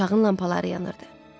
Otağın lampaları yanırdı.